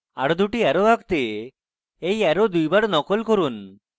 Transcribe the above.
arrow 2 টি arrow আঁকতে এই arrow দুইবার নকল করুন